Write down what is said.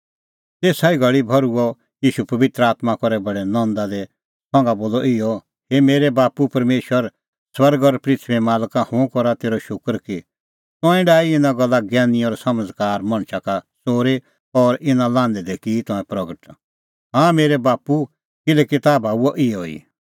तेसा ई घल़ी भर्हुअ ईशू पबित्र आत्मां करै बडै नंदा दी संघा बोलअ इहअ हे मेरै बाप्पू परमेशर स्वर्गै और पृथूईए मालक हुंह करा तेरअ शूकर कि तंऐं डाही ईंयां गल्ला ज्ञैनी और समझ़कार मणछा का च़ोरी और इना लान्हैं दी की तंऐं प्रगट हाँ मेरै बाप्पू किल्हैकि ताह भाऊंआ इहअ ई